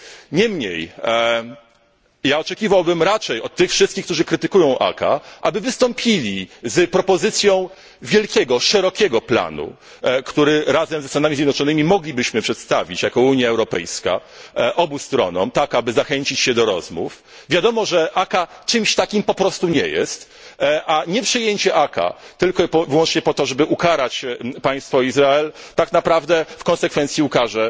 Niemniej oczekiwałbym raczej od tych wszystkich, którzy krytykują ACAA, aby wystąpili z propozycją wielkiego, szerokiego planu, który razem ze Stanami Zjednoczonymi moglibyśmy przedstawić jako Unia Europejska obu stronom, tak aby zachęcić je do rozmów. Wiadomo, że ACAA czymś takim nie jest, lecz nieprzyjęcie ACAA tylko i wyłącznie po to, żeby ukarać państwo Izrael, tak naprawdę w konsekwencji ukarze